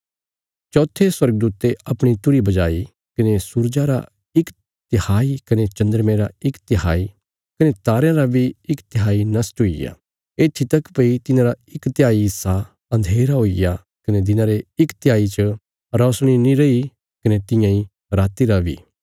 चौथे स्वर्गदूते अपणी तुरही बजाई कने सूरजा रा इक तिहाई कने चन्द्रमे रा इक तिहाई कने तारयां रा बी इक तिहाई नष्ट हुईग्या येत्थी तक भई तिन्हांरा इक तिहाई हिस्सा अन्धेरा हुईग्या कने दिना रे इक तिहाई च रौशनी नीं रैई कने तियां इ राति रा बी